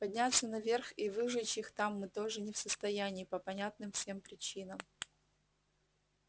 подняться наверх и выжечь их там мы тоже не в состоянии по понятным всем причинам